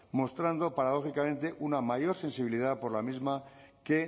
mostrando paradójicamente una mayor sensibilidad por la misma que